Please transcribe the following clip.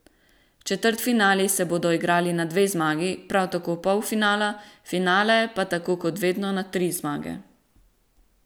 Četrtfinali se bodo igrali na dve zmagi, prav tako polfinala, finale pa tako kot vedno na tri zmage.